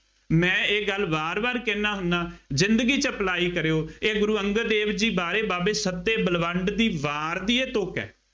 ਮੈਂ ਇਹ ਗੱਲ ਵਾਰ ਵਾਰ ਕਹਿੰਦਾ ਹੁੰਦਾ, ਜ਼ਿੰਦਗੀ ਚ apply ਕਰਿਉ, ਇਹ ਗੁਰੂ ਅੰਗਦ ਦੇਵ ਜੀ ਬਾਰੇ ਬਾਬੇ ਸੱਬੇ ਬਲਵੰਡ ਦੀ ਵਾਰ ਦੀ ਇਹ ਤੁਕ ਹੈ।